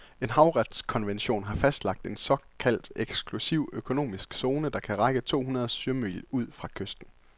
En havretskonvention har fastlagt en såkaldt eksklusiv økonomisk zone, der kan række to hundrede sømil ud fra kysten.